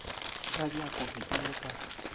ka bjako ke ile ka